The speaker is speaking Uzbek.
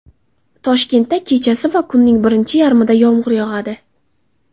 Toshkentda kechasi va kunning birinchi yarmida yomg‘ir yog‘adi.